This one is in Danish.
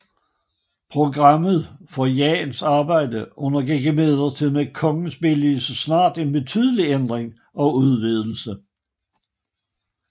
Programmet for Jahns arbejde undergik imidlertid med kongens billigelse snart en betydelig ændring og udvidelse